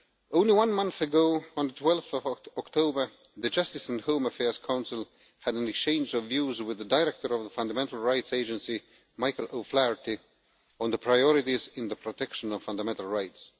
Only one month ago, on 12 October, the Justice and Home Affairs Council had an exchange of views with the Director of the Fundamental Rights Agency, Michael O'Flaherty, on the priorities in the protection of fundamental rights.